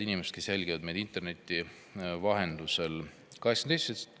Head inimesed, kes te jälgite meid interneti vahendusel!